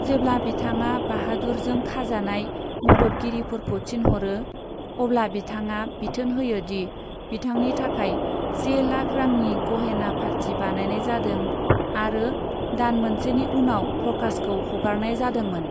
जेब्ला बिथाङा बाहादुरजों खाजानाय मददगिरिफोरखौ थिनहरो, अब्ला बिथाङा बिथोन होयो दि बिथांनि थाखाय से लाख रांनि गहेना फाथि बानायनाय जाधों आरो दान मोनसेनि उनाव प्रकाशखौ हगारनाय जादोंमोन।